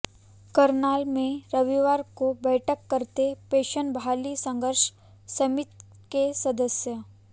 करनाल में रविवार को बैठक करते पेंशन बहाली संघर्ष समिति के सदस्य